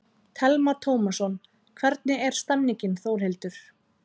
Telma Tómasson: Hvernig er stemningin Þórhildur?